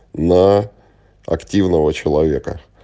на активного человека